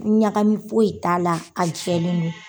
Ɲagami foyi t'a la, a jɛlen no.